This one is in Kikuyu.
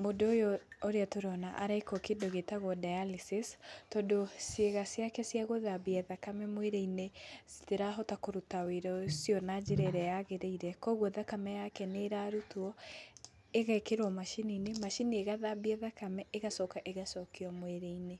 mũndũ ũyũ ũrĩa tũrona arekwo kĩndũ gĩtagwo dialysis tondũ ciĩga ciake cia gũthambia thakame mwĩrĩ-inĩ citarahota kũruta wĩra na njĩra ĩrĩa yagĩrĩire kwoguo thakame yake nĩ rarutwo ĩgekĩrwo macini-inĩ, macini igathambia thakame ĩgacoka ĩgacokio mwĩrĩ-inĩ.